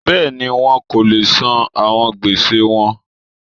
Bẹ́ẹ̀ni, wọn ko le san awọn gbese wọn.